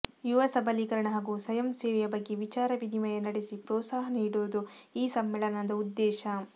ಯುವ ಸಬಲೀಕರಣ ಹಾಗು ಸ್ವಯಂ ಸೇವೆಯ ಬಗ್ಗೆ ವಿಚಾರ ವಿನಿಮಯ ನಡೆಸಿ ಪ್ರೋತ್ಸಾಹ ನೀಡುವುದು ಈ ಸಮ್ಮೇಳನದ ಉದ್ದೇಶ